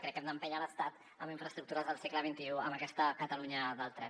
crec que hem d’empènyer l’estat amb infraestructures del segle xxi amb aquesta catalunya del tren